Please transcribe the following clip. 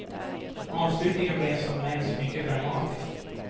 Avslutningen blev som nämnts mycket dramatisk.